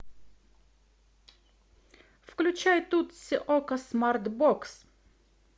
включай тутси окко смарт бокс